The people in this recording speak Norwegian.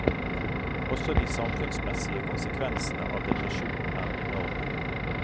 Også de samfunnsmessige konsekvensene av depresjon er enorme.